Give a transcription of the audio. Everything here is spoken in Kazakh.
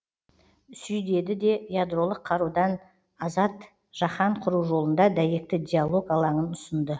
сүй деді де ядролық қарудан азат жаһан құру жолында дәйекті диалог алаңын ұсынды